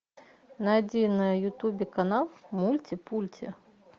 найди на ютубе канал мульти пульти